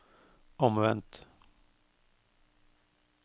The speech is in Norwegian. omvendt